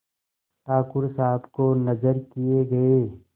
ठाकुर साहब को नजर किये गये